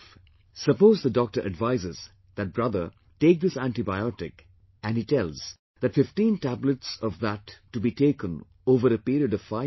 Suppose the doctor advises that brother, take this antibiotic and he tells that 15 tablets of that to be taken over a period of five days